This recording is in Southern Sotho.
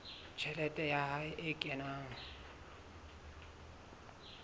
tjhelete ya hae e kenang